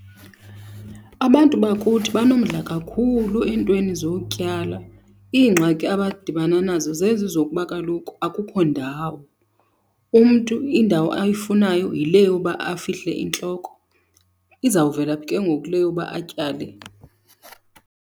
Abantu bakuthi banomdla kakhulu eentweni zokutyala. Iingxaki abadibana nazo zezi zokuba kaloku akukho ndawo. Umntu indawo ayifunayo yile yoba afihle intloko. Izawuvela phi ke ngoku le yoba atyale?